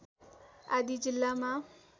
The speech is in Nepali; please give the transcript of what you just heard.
आदि जिल्लामा